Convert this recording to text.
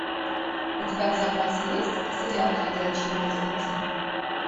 у тебя в запасе есть сериал ходячие мертвецы